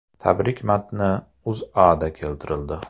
Tabrik matni O‘zAda keltirildi .